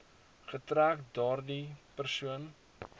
getrek daardie persoon